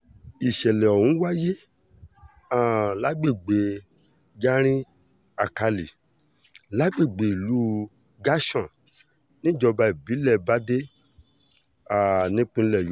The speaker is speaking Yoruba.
ìsẹ̀lẹ̀ ọ̀hún wáyé um lágbègbè garin-alkálì lágbègbè ìlú gashọ́n níjọba ìbílẹ̀ bàdé um nípínlẹ̀ yo